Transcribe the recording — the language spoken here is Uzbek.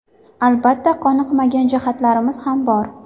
Albatta, qoniqmagan jihatlarimiz ham bor.